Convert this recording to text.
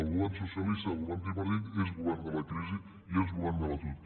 el govern socialista i el govern tripartit és govern de la crisi i és govern de l’atur